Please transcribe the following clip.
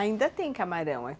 Ainda tem camarão?